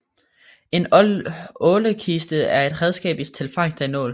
En ålekiste er et redskab til fangst af ål